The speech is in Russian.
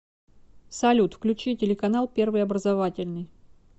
салют включи телеканал первый образовательный